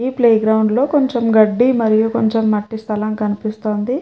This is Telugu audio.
ఈ ప్లే గ్రౌండ్ లో కొంచెం గడ్డి మరియు కొంచెం మట్టి స్థలం కనిపిస్తుంది.